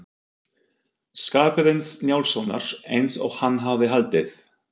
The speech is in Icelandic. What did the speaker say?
Skarphéðins Njálssonar eins og hann hafði haldið.